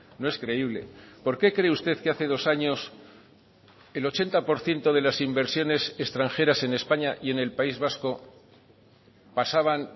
no es creíble por qué cree usted que hace dos años el ochenta por ciento de las inversiones extranjeras en españa y en el país vasco pasaban